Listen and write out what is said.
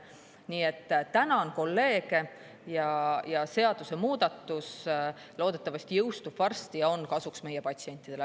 Nii et tänan kolleege ja seadusemuudatus loodetavasti jõustub varsti ja on kasuks meie patsientidele.